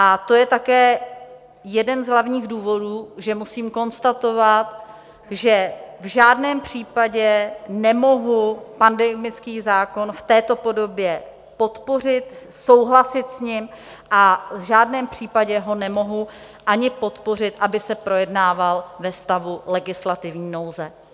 A to je také jeden z hlavních důvodů, že musím konstatovat, že v žádném případě nemohu pandemický zákon v této podobě podpořit, souhlasit s ním a v žádném případě ho nemohu ani podpořit, aby se projednával ve stavu legislativní nouze.